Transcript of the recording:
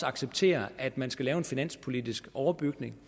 acceptere at man skal lave en finanspolitisk overbygning